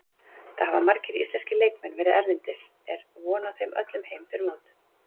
Það hafa margir íslenski leikmenn verið erlendis, er von á þeim öllum heim fyrir mót?